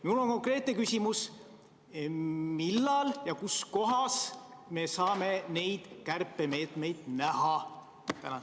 " Mul on nüüd konkreetne küsimus: millal ja kus kohas me saame neid kärpemeetmeid näha?